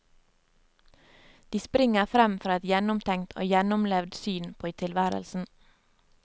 De springer frem fra et gjennomtenkt og gjennomlevd syn på tilværelsen.